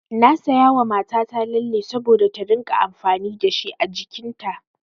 Na sayawa mata ta lalle saboda ta rinƙa amfani dashi a jikin ta.